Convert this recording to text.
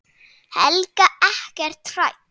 Helga: Ekkert hrædd?